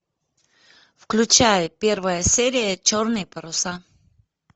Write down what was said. включай первая серия черные паруса